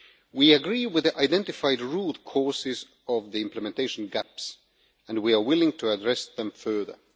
We agree with the identified root causes of the implementation gaps and we are willing to address them further.